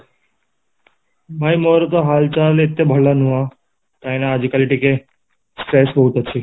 ଭାଇ ମୋର ତ ହାଲଚାଲ ଏତେ ଭଲ ନୁହଁ କାହିଁକି ନା ଆଜି କାଲି ଟିକେ stress ବହୁତ ଅଛି